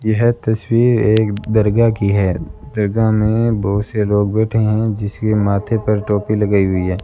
यह तस्वीर एक दरगाह की है दरगाह में बहोत से लोग बैठे हैं जिसके माथे पर टोपी लगाई हुई है।